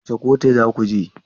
Wace kotu za ku je?